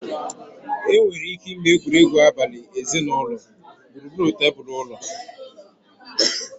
Enwere ike ịme egwuregwu abali ezinụlọ gburugburu tebụl ụlọ.